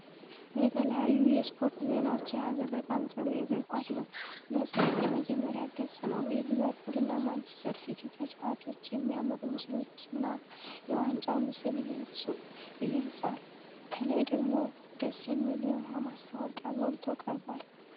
የተለያዩ የስፖርት ዜናዎችን የያዘ በጣም ጥሩ የእግር ኳስ መጽሔት የመጀመሪያ ገጽ ነው። የሊቨርፑልና ማንቸስተር ሲቲ ተጫዋቾች የሚያምሩ ምስሎችና የዋንጫው ምስል ይገልጽል። ከላይ ደግሞ ደስ የሚል የውሃ ማስታወቂያ ጎልቶ ቀርቧል።